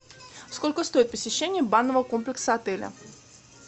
сколько стоит посещение банного комплекса отеля